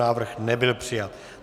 Návrh nebyl přijat.